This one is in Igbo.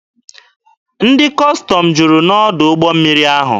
Ndị Kọstọm juru n'ọdụ ụgbọ mmiri ahụ.